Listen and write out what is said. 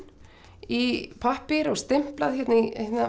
í pappír og stimplað í